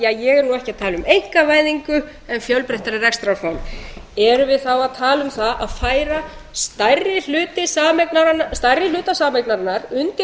ég er nú ekki að tala um einkavæðingu en fjölbreyttara rekstrarform erum við þá að tala um það að færa stærri hluta sameignarinnar undir